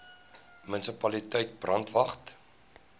munisipaliteit brandwatch